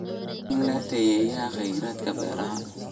Waa in la tayeeyaa kheyraadka beeraha.